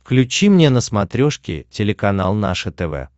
включи мне на смотрешке телеканал наше тв